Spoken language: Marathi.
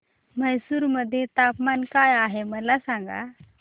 म्हैसूर मध्ये तापमान काय आहे मला सांगा